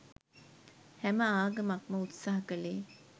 හැම ආගමක්ම උත්සාහ කලේ